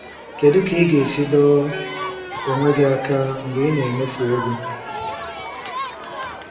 Kedu ka ị ga-esi dọọ onwe gị aka mgbe ị na-emefu ego?